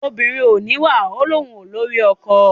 obìnrin ò níwà ò ní òun ò lórí ọkọ.